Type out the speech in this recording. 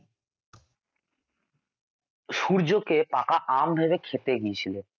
সূর্যকে পাকা আম ভেবে খেতে গিয়েছিল